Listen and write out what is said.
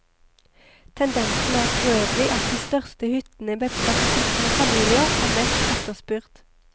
Tendensen er forøvrig at de største hyttene med plass til to familier er mest efterspurt.